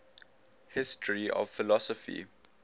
history of philosophy